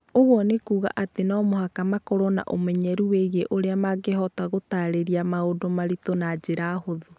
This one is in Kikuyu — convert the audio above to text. Ũguo nĩ kuuga atĩ no mũhaka makorũo na ũmenyeru wĩgiĩ ũrĩa mangĩhota gũtaarĩria maũndũ maritũ na njĩra hũthũ.